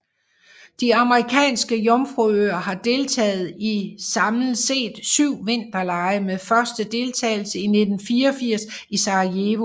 De Amerikanske Jomfruøer har deltaget i samlet set syv vinterlege med første deltagelse i 1984 i Sarajevo